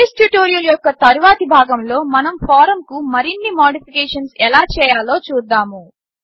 base tutorial యొక్క తరువాతి భాగములో మనం ఫారమ్కు మరిన్ని మాడిఫికేషన్స్ ఎలా చేయాలో చూద్దాము